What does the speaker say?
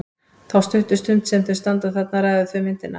Þá stuttu stund sem þau standa þarna ræða þau um myndina.